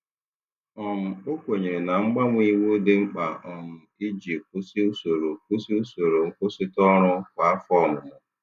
um O kwenyere na mgbanwe iwu dị mkpa um iji kwụsị usoro kwụsị usoro nkwụsịtụ ọrụ kwa afọ ọmụmụ.